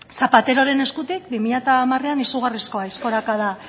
zapateroren eskutik bi mila hamarean izugarrizko aizkorakada